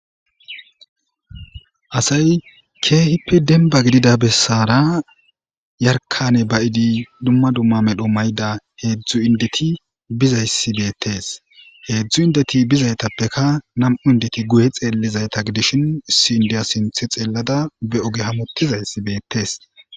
asay keehippe denba gidida bessara yarkane bayidi dumma dumma medho mayda heedzdzu indeti bizayssi beettes heedzdzu indeti bizaytappeka nam7u indeti guye xeellizayta gidishin issi indiya sinthe xeellada be oge hamutizayssi beettes